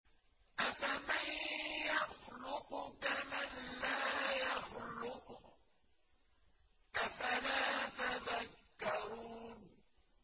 أَفَمَن يَخْلُقُ كَمَن لَّا يَخْلُقُ ۗ أَفَلَا تَذَكَّرُونَ